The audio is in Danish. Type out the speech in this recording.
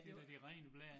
Det da det rene blær